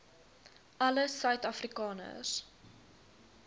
alle suid afrikaners